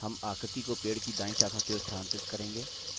हम आकृति को पेड़ की दायीं शाखा की ओर स्थानांतरित करें